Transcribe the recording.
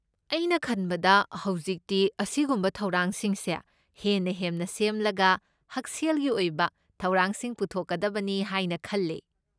ꯑꯩꯅ ꯈꯟꯕꯗ ꯍꯧꯖꯤꯛꯇꯤ ꯑꯁꯤꯒꯨꯝꯕ ꯊꯧꯔꯥꯡꯁꯤꯡꯁꯦ ꯍꯦꯟꯅ ꯍꯦꯟꯅ ꯁꯦꯝꯂꯒ ꯍꯛꯁꯦꯜꯒꯤ ꯑꯣꯏꯕ ꯊꯧꯔꯥꯡꯁꯤꯡ ꯄꯨꯊꯣꯛꯀꯗꯕꯅꯤ ꯍꯥꯏꯅ ꯈꯜꯂꯦ꯫